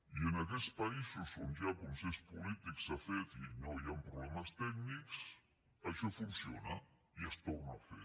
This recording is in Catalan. i en aquests països on hi ha consens polític s’ha fet i no hi han problemes tècnics això funciona i es torna a fer